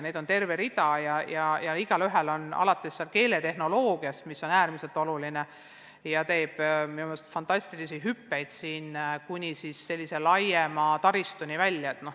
Neid on terve rida ja igaühel on oma funktsioon – alates keeletehnoloogiast, mis on äärmiselt oluline ja mis teeb oma arengus minu meelest fantastilisi hüppeid, kuni laiema keeletaristuni välja.